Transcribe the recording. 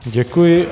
Děkuji.